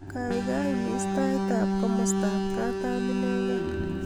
gaigai imis tait ab komostab katam inegen